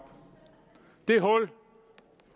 det hul